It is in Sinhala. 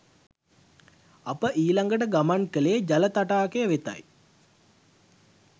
අප ඊලගට ගමන් කලේ ජල තටාකය වෙතයි